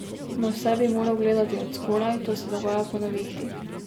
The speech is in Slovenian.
Na vse bi moral gledati od zgoraj, to se dogaja po nevihti.